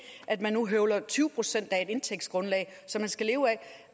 man nu høvler tyve procent af det indtægtsgrundlag som man skal leve af